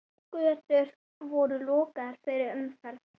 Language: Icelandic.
Götur voru lokaðar fyrir umferð.